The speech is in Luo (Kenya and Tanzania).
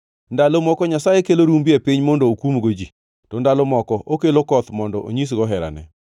Ndalo moko Nyasaye kelo rumbi e piny mondo okumgo ji, to ndalo moko okelo koth mondo onyisgo herane.